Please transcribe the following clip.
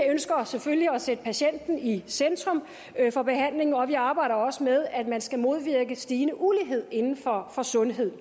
ønsker selvfølgelig at sætte patienten i centrum for behandlingen og vi arbejder også med at man skal modvirke stigende ulighed inden for sundhed